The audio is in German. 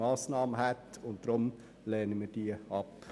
Deshalb lehnen wir sie ab.